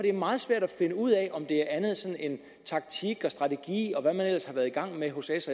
er meget svært at finde ud af om det er andet end taktik og strategi og hvad man ellers har været i gang med hos s